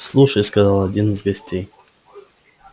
слушай сказал один из гостей